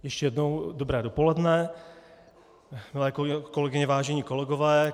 Ještě jednou dobré dopoledne, milé kolegyně, vážení kolegové.